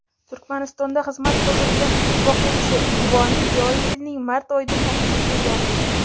"Turkmanistonda xizmat ko‘rsatgan it boquvchi" unvoni joriy yilning mart oyida ta’sis etilgandi.